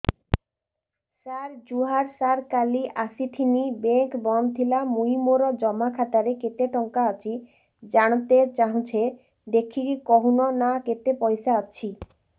ସାର ଜୁହାର ସାର କାଲ ଆସିଥିନି ବେଙ୍କ ବନ୍ଦ ଥିଲା ମୁଇଁ ମୋର ଜମା ଖାତାରେ କେତେ ଟଙ୍କା ଅଛି ଜାଣତେ ଚାହୁଁଛେ ଦେଖିକି କହୁନ ନା କେତ ପଇସା ଅଛି